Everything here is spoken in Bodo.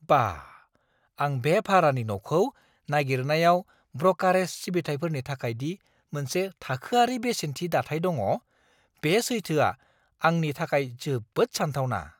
बाह! आं बे भारानि न'खौ नागिरनायाव ब्रकारेज सिबिथाइफोरनि थाखाय दि मोनसे थाखोआरि बेसेननि दाथाइ दङ, बे सैथोआ आंनि थाखाय जोबोद सानथावना!